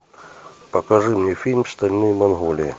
покажи мне фильм стальные магнолии